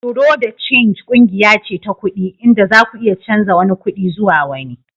Bureau de change kungiya ce ta kudi inda zaku iya canza wani kudin zuwa wani.